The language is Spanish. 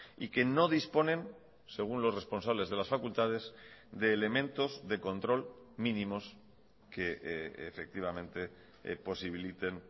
y que no disponen según los responsables de las facultades de elementos de control mínimos que efectivamente posibiliten